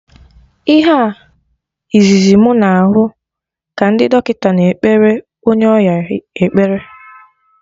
Ihe a izizi mụ na hụ ka ndị dọkịta na ekpere onye ọya ekpere